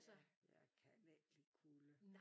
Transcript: Ja jeg kan ikke lide kulde